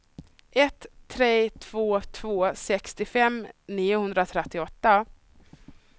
ett tre två två sextiofem niohundratrettioåtta